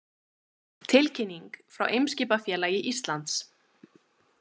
Tilkynning frá Eimskipafélagi Íslands